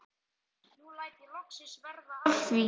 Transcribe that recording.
Nú læt ég loksins verða af því.